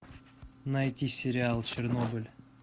найти сериал чернобыль